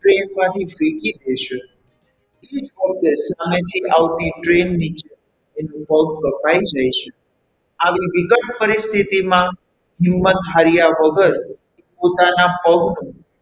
Train માંથી ફેંકી દેછે અને તે આવતી train નીચે એના પગ કપાઈ જાય છે આવી વિકટ પરિસ્થિતિમાં હિંમત હાર્યા વગર પોતાના પગનું,